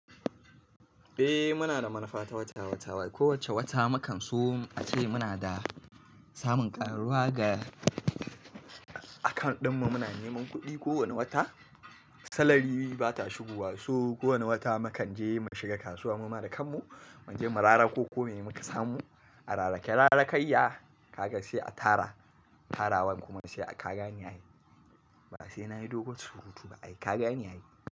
Eh muna da manufa ta wata wata. Wai kowace wata mu kan so ace muna da samun karuwa ga account ɗinmu. Muna neman kuɗi kowane wata. Salary bata shigowa, so kowane wata mu kan je mu shiga kasuwa, mu ma da kanmu mu je mu rara ko kome muka samu a rarake. Rarakayya, kaga sai a tara tarawan kuma sai a kaga niyayi. Ba sai nayi dogon surutu ba ai kagane ai.